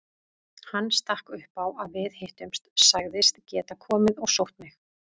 Hann stakk upp á að við hittumst, sagðist geta komið og sótt mig.